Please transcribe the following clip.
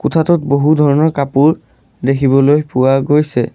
কোঠাটোত বহুধৰণৰ কাপোৰ দেখিবলৈ পোৱা গৈছে।